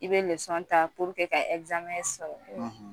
I be ta ka sɔrɔ